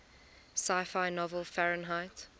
sci fi novel fahrenheit